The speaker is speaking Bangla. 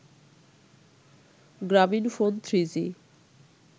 গ্রামীনফোন থ্রিজি